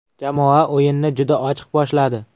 Jamoa o‘yinni juda ochiq boshladi.